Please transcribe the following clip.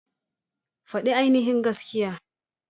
Fadi ainihin gaskiya.